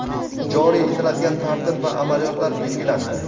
joriy etiladigan tartib va amaliyotlar belgilandi.